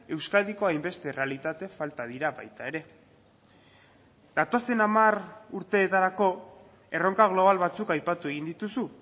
euskadiko hainbeste errealitate falta dira baita ere datozen hamar urteetarako erronka global batzuk aipatu egin dituzu